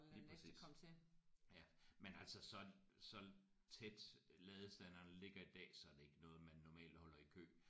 Lige præcis ja men altså så så tæt ladestandere ligger i dag så er det ikke noget man normalt holder i kø